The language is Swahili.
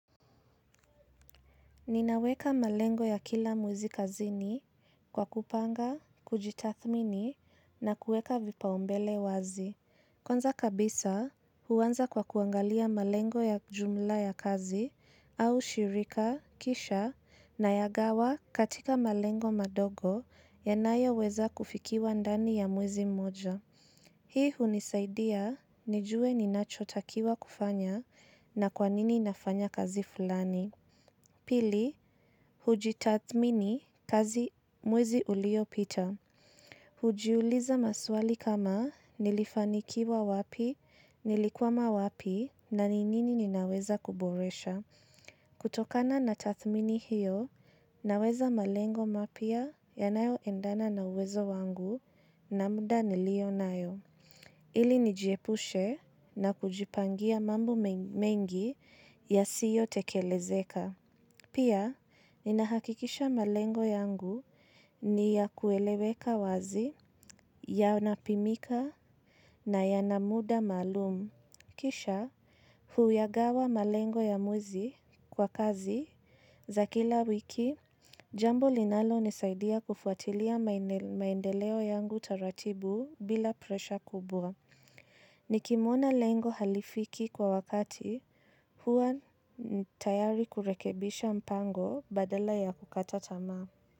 Ninaweka malengo ya kila mwezi kazini kwa kupanga, kujitathmini na kueka vipaombele wazi. Kwanza kabisa huwanza kwa kuangalia malengo ya jumla ya kazi au shirika, kisha na ya gawa katika malengo madogo yanayo weza kufikiwa ndani ya mwizi mmoja. Hii hunisaidia, nijue ni nachotakiwa kufanya na kwanini nafanya kazi fulani. Pili, hujitathmini kazi mwezi ulio pita. Hujiuliza maswali kama nilifanikiwa wapi, nilikuwama wapi, na ninini ninaweza kuboresha. Kutokana na tathmini hiyo, naweza malengo mapia ya nayo endana na uwezo wangu na muda nilio nayo. Ili nijiepushe na kujipangia mambo mengi ya siyo tekelezeka. Pia, ni nahakikisha malengo yangu ni ya kueleweka wazi, ya napimika na ya namuda malumu. Kisha, huyagawa malengo ya mwezi kwa kazi za kila wiki, jambo linalo nisaidia kufuatilia maendeleo yangu taratibu bila presha kubwa. Ni kimona lengo halifiki kwa wakati huwa tayari kurekebisha mpango badala ya kukata tamaa.